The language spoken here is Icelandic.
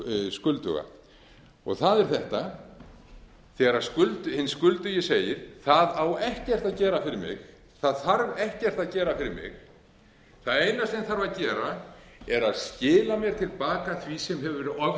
skulduga og það er þetta þegar hinn skuldugi segir það á ekkert að gera fyrir mig það þarf ekkert að gera fyrir mig það eina sem þarf að gera er að skila mér til baka því sem hefur verið oftekið